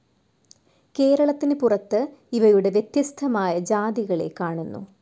കേരളത്തിന് പുറത്ത് ഇവയുടെ വ്യത്യസ്ഥമായ ജാതികളെ കാണുന്നു.